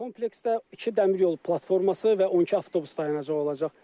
Kompleksdə iki dəmir yol platforması və 12 avtobus dayanacağı olacaq.